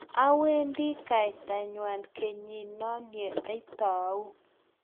awendi kaitangwany kenyit no ye itau